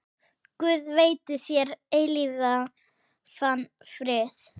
Guð veiti þér eilífan frið.